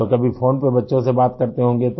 तो कभी फ़ोन पर बच्चों से बात करते होंगे तो